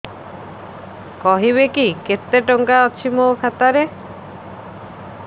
କହିବେକି କେତେ ଟଙ୍କା ଅଛି ମୋ ଖାତା ରେ